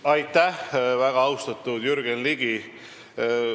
Aitäh, väga austatud Jürgen Ligi!